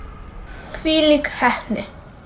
Hvílík heppni!